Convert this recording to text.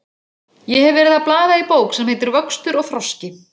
Ég hef verið að blaða í bók sem heitir Vöxtur og þroski.